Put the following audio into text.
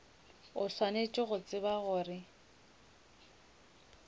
o swanetše go tseba gore